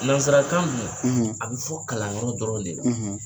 Nansarakan ninnu, a bɛ fɔ kalanyɔrɔ dɔrɔn de la.